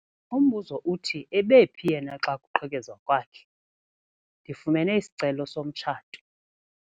Umbuzo uthi ebephi yena xa kuqhekezwa kwakhe? Ndifumene isicelo somtshato.